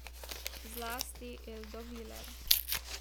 Zlasti Eldo Viler.